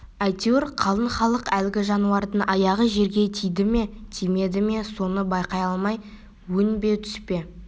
әйтеуір қалың халық әлгі жануардың аяғы жерге тиді ме тимеді ме соны байқай алмай өң бе түс пе